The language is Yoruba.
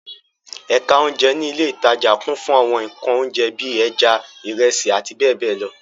Ẹ̀ka oúnjẹ ní ilé-ìtajà kún fún àwọn nǹkan oúnjẹ bí i; ẹja, ìrẹsì àti bẹ́ẹ̀ bẹ́ẹ̀ lọ.